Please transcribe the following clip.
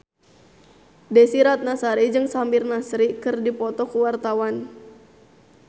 Desy Ratnasari jeung Samir Nasri keur dipoto ku wartawan